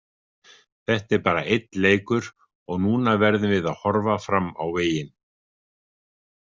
Þetta er bara einn leikur og núna verðum við að horfa fram á veginn.